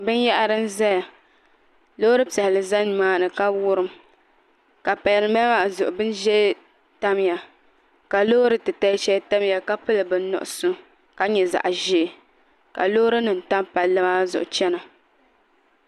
Binyahari n ʒɛya loori piɛlli ʒɛ nimaani ka wurim ka pali dinbala maa zuɣu bin ʒiɛ tamya ka loori titali shɛli tamya ka pili bin nuɣso ka nyɛ zaɣ ʒiɛ ka loori nim tam palli maa zuɣu chɛna